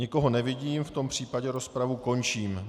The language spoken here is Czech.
Nikoho nevidím, v tom případě rozpravu končím.